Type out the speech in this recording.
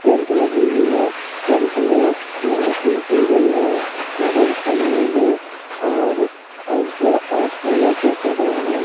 Tent लगी हुई है टेंट में लाइटिंग की गई है हरे नीले और अ अ और फूलो से सजा है।